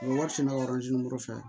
wari fɛnɛ bɛ fɛ